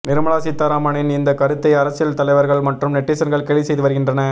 நிர்மலா சீதாராமனின் இந்த கருத்தை அரசியல் தலைவர்கள் மற்றும் நெட்டிசன்கள் கேலி செய்து வருகின்றனர்